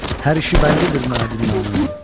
Hər işi bəllidir mənə dünyanın.